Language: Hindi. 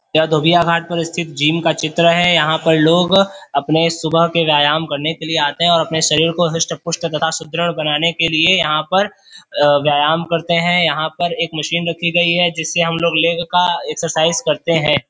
यह धोबिया घाट पर स्थित जिम का चित्र है। यहाँ पर लोग अपने सुबह के व्यायाम करने के लिए आते हैं और अपने शरीर को हुष्ट पुष्ट तथा सुदृढ़ बनाने के लिए यहाँ पर अ- व्यायाम करते हैं। यहाँ पर एक मशीन रखी गई है जिससे हम लोग लेग का एक्सरसाइज करते हैं।